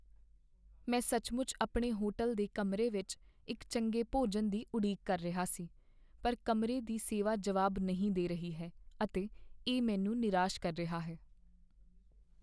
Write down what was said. ਮੈਂ ਸੱਚਮੁੱਚ ਆਪਣੇ ਹੋਟਲ ਦੇ ਕਮਰੇ ਵਿੱਚ ਇੱਕ ਚੰਗੇ ਭੋਜਨ ਦੀ ਉਡੀਕ ਕਰ ਰਿਹਾ ਸੀ, ਪਰ ਕਮਰੇ ਦੀ ਸੇਵਾ ਜਵਾਬ ਨਹੀਂ ਦੇ ਰਹੀ ਹੈ ਅਤੇ ਇਹ ਮੈਨੂੰ ਨਿਰਾਸ਼ ਕਰ ਰਿਹਾ ਹੈ।